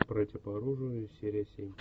братья по оружию серия семь